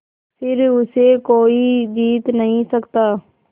फिर उसे कोई जीत नहीं सकता